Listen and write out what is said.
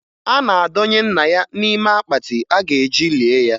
A na-adọnye nna ya n'ime akpatị a ga-eji lie ya.